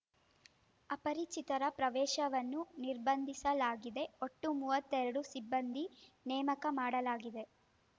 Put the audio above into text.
ಅಪರಿಚಿತರ ಪ್ರವೇಶವನ್ನು ನಿರ್ಬಂಧಿಸಲಾಗಿದೆ ಒಟ್ಟು ಮೂವತ್ತೆರಡು ಸಿಬ್ಬಂದಿ ನೇಮಕ ಮಾಡಲಾಗಿದೆ